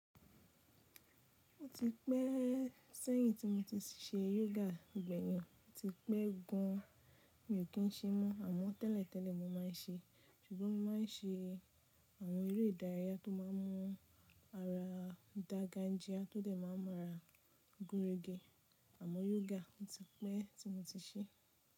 Ó ti pẹ́ sẹ́yin tí mo ti ṣe yoga. Ìgbẹ̀yìn ọ ti pẹ́ gan. Mi ò kí ń ṣe mọ́ àmọ́ tẹ́lẹ̀tẹ́lẹ̀ mo máa ń ṣe, ṣùgbọ́n mo máa ń ṣe àwọn eré ìdárayá tó má ń mú ara dàga ń gia, tó dẹ̀ má ń mú ara gúnregẹ. Àmọ́ yoga ó ti pẹ́ tí mo ti ṣe.